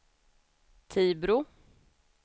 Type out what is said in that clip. Tibro